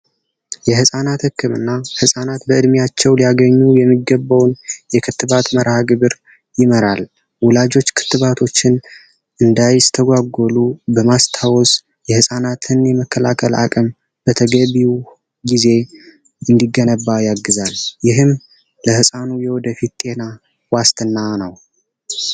የህፃናት ህክምና ህፃናት በድሚያቸው ሊያገኙ የሚገባውን የክትባት መርሐግብር ይመራል። ወላጆች ክትባቶችን እንዳይስተጓጎሉ በማስታወስ የህጻናትን የመከላከል አቅም በተገቢው ጊዜ እንዲገነባ ያግዛል ይህም ለህፃኑ የወደፊት ጤና ዋስትና ነው ።